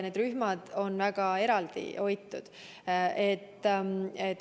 Rühmad on väga eraldi hoitud.